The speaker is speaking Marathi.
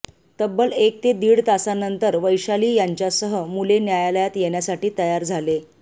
तब्बल एक ते दीड तासानंतर वैशाली यांच्यासह मुले न्यायालयात येण्यासाठी तयार झाले